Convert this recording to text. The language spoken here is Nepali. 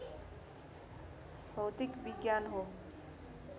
भौतिक विज्ञान हो